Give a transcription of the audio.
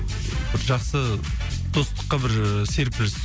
бір жақсы достыққа бір ііі серпіліс